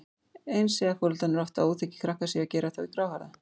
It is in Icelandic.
Eins segja foreldrar oft að óþekkir krakkar séu að gera þá gráhærða.